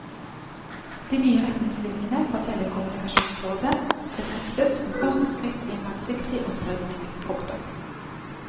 De nye retningslinjene fra telekommunikasjonsrådet betraktes som første skritt i en langsiktig opprydning. punktum